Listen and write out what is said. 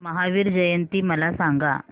महावीर जयंती मला सांगा